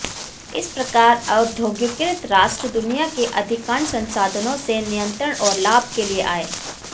इस प्रकार औद्योगिकीकृत राष्ट्र दुनिया के अधिकांश संसाधनों से नियंत्रण और लाभ के लिए आए